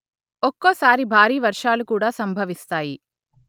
ఒక్కోసారి భారీవర్షాలు కూడా సంభవిస్తాయి